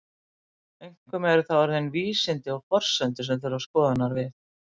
Einkum eru það orðin vísindi og forsendur sem þurfa skoðunar við.